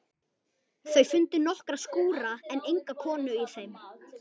Þau fundu nokkra skúra en enga konu í þeim.